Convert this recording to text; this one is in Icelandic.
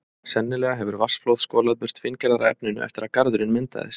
Sennilega hefur vatnsflóð skolað burt fíngerðara efninu eftir að garðurinn myndaðist.